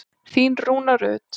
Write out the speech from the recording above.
Þín Rúna Rut.